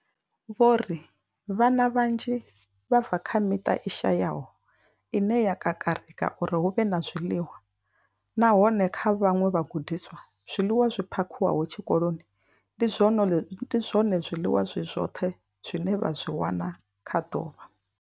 Vho ri vhana vhanzhi vha bva kha miṱa i shayaho ine ya kakarika uri hu vhe na zwiḽiwa, nahone kha vhaṅwe vhagudiswa, zwiḽiwa zwi phakhiwaho tshikoloni ndi zwone zwiḽiwa zwi zwoṱhe zwine vha zwi wana kha ḓuvha.